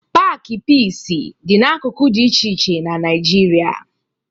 Paakị Piisi dị n'akụkụ dị iche iche na Naịjirịa